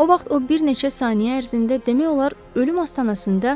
O vaxt o bir neçə saniyə ərzində demək olar ölüm astanasında